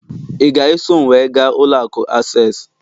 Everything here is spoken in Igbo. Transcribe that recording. ị ga-eso m wee gaa ụlọ akụ access?